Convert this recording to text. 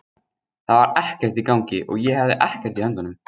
Það var ekkert í gangi og ég hafði ekkert í höndunum.